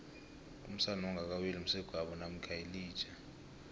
umsana ongakaweli msegwabo namkha yilija